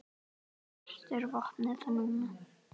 Hvert er vopnið núna?